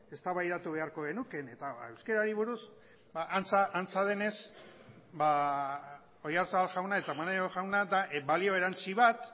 eztabaidatu beharko genuke eta euskarari buruz antza denez oyarzabal jauna eta maneiro jauna da balio erantsi bat